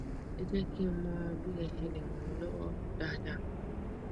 ẹ jẹ kí n mọ bí ẹ ṣe lè ràn mí lọwọ dáadáa